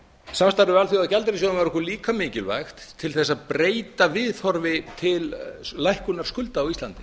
við alþjóðagjaldeyrissjóðinn var okkur líka mikilvægt til að breyta viðhorfi til lækkunar skulda á íslandi